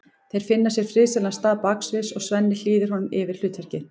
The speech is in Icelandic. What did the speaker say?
Þeir finna sér friðsælan stað baksviðs og Svenni hlýðir honum yfir hlutverkið.